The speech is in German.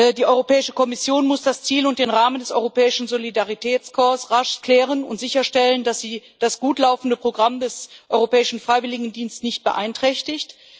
Die Europäische Kommission muss das Ziel und den Rahmen des Europäischen Solidaritätskorps rasch klären und sicherstellen, dass sie das gut laufende Programm des Europäischen Freiwilligendiensts nicht beeinträchtigt.